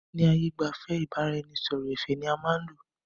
Ni ààyè gbẹ́fẹ̀, ìbáraẹnisọọ̀rọ̀ ẹ̀fẹ̀ ni a máa n lò